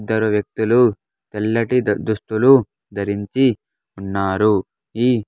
ఇద్దరు వ్యక్తులు తెల్లటి దుస్తులు ధరించి ఉన్నారు ఈ.